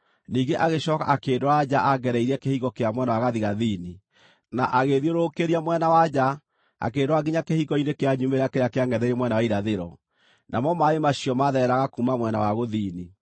Ningĩ agĩcooka akĩndwara nja angereirie kĩhingo kĩa mwena wa gathigathini, na agĩĩthiũrũrũkĩria mwena wa nja akĩndwara nginya kĩhingo-inĩ kĩa nyumĩrĩra kĩrĩa kĩangʼetheire mwena wa irathĩro, namo maaĩ macio maathereraga kuuma mwena wa gũthini.